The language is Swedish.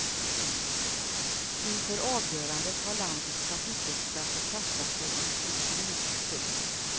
Inför avgörandet har landets trafikexperter kastat sig ut i strid. punkt